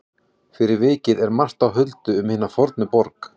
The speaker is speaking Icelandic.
Fyrir vikið er margt á huldu um hina fornu borg.